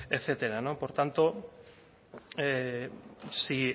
etcétera por tanto si